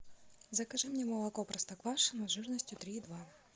закажи мне молоко простоквашино жирностью три и два